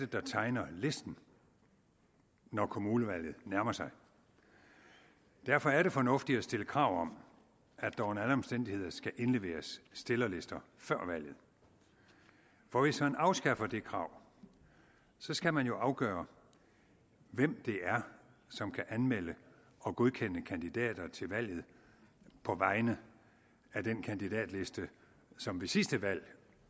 der tegner listen når kommunevalget nærmer sig derfor er det fornuftigt at stille krav om at der under alle omstændigheder skal indleveres stillerlister før valget for hvis man afskaffer det krav skal man jo afgøre hvem det er som kan anmelde og godkende kandidater til valget på vegne af den kandidatliste som ved sidste valg